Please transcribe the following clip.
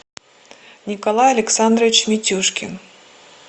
николай александрович митюшкин